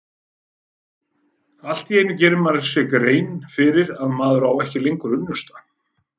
Allt í einu gerir maður sér grein fyrir að maður á ekki lengur unnusta.